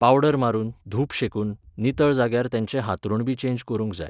powder मारून, धूप शेकून, नितळ जाग्यार तेचें हातरूणबी चेंज करूंक जाय